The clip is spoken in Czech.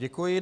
Děkuji.